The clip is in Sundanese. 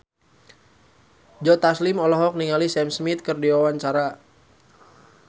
Joe Taslim olohok ningali Sam Smith keur diwawancara